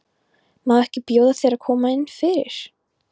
Má ekki bjóða þér að koma inn fyrir?